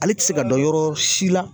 Ale ti se ka dɔ yɔrɔ si la.